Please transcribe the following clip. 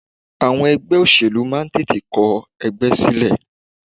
Àwọn ẹgbẹ́ òṣèlú máa ń tètè kọ ẹgbẹ́ sílẹ̀.